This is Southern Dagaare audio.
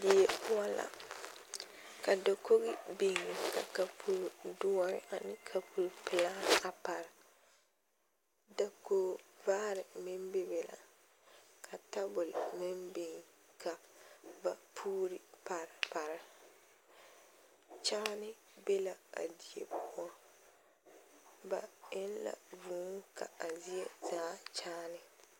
Die poɔ la ka dakogi beŋ ka kapuro doɔre ane kapure pelaa a pare dakog vaare meŋ be be la ka tabol meŋ beŋ ka ba puuri pare pare kyaane be la a die poɔ ba eŋ la vuu ka a zie zaa kyaane.